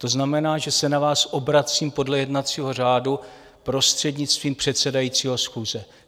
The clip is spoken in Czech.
To znamená, že se na vás obracím podle jednacího řádu prostřednictvím předsedajícího schůze.